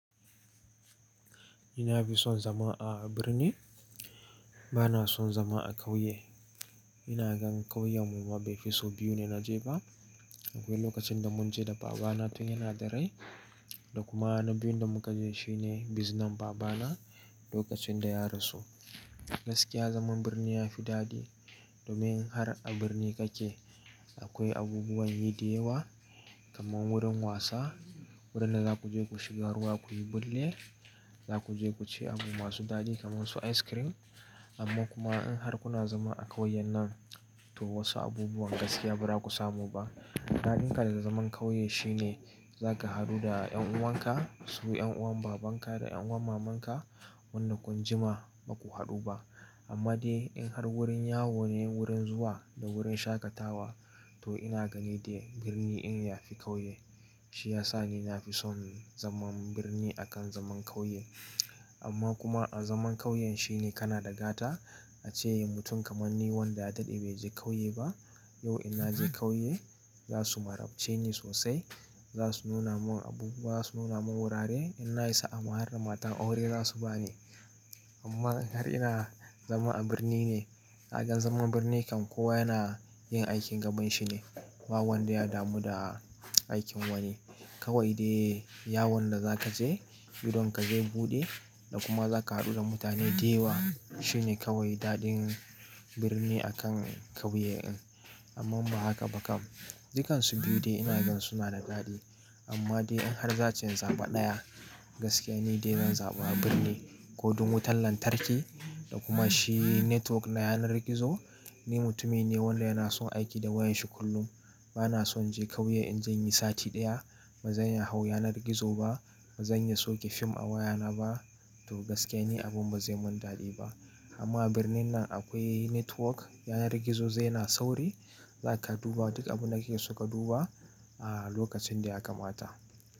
Ina fi son zama a birni, ba na son zama a ƙauye. Ina gan ƙauyen mu mabe fi so biyu ne na je ba. Akwai lokacin da mun je da baba na tun yana da rai da kuma na biyun da muka je shine biznen baba na lokacin da ya rasu. Gaskiya zaman birni ya fi dadi domin har a birni kake akwai abubuwan yi da yawa kamar wurin wasa, wurin da za ku je ku shiga ruwa ku yi bulle, za ku je ku ci abu masu dadi kamar su ice cream. Amma kuma in har kuna zama a kauyen nan to wasu abubuwan gaskiya ba za ku samu ba. Daɗin ka da zaman ƙauye shine za ka haɗu da ƴan'uwan ka, su ƴan'uwan baban ka da ƴan'uwan maman ka wanda kun jima ba ku haɗu ba. Amma dai in har wurin yawo ne wurin zuwa da wurin shaƙatawa to ina gani dai birni in yafi ƙauye. Shi yasa ni nafi son zaman birni akan zaman ƙauye. Amma kuma a zaman ƙauyen shine kana da gata ace mutum kamar ni wanda ya daɗe bai je ƙauye ba yau ina je ƙauye za su marabce ni sosai. Za su nuna mun abubuwa, za su nuna mun wurare. In na isa a ma har da matan aure za su ba ni. Amma in har ina zama a birni ne, ka gan zaman birni kan kowa yana yin aikin gaban shi ne ba wanda ya damu da aikin wani. Kawai dai yawon da za ka je, idon ka zai buɗe da kuma za ka haɗu da mutane da yawa. Shi ne kawai daɗin birni akan ƙauye in. Amman ba haka ba kam, dukansu biyu dai ina gan suna da daɗi. Amma dai in har za'a ce zaɓa ɗaya gaskiya ne dai zan zaɓa birni. Kodon wutan lantarki da kuma shi network na yanar gizo. Ni mutumi ne wanda yana son aiki da wayar shi kullum. Ba na son inje ƙauye in je inyi sati ɗaya. Ba zan iya hau yanar gizo ba, ba zan iya soke fim a waya na ba to gaskiya ni abun ba zai mun dadi ba. Amma a birnin nan akwai network na yanar gizo zai yana sauri. Za ka duba duk abun da kake so ka duba a lokacin da ya kamata.